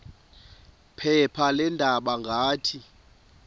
phepha leendaba ngathi